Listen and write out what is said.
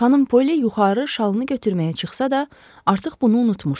Xanım Polly yuxarı şalını götürməyə çıxsa da, artıq bunu unutmuşdu.